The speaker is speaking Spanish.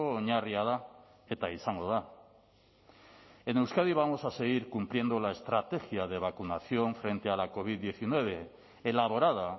oinarria da eta izango da en euskadi vamos a seguir cumpliendo la estrategia de vacunación frente a la covid diecinueve elaborada